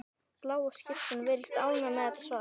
Bláa skyrtan virðist ánægð með þetta svar.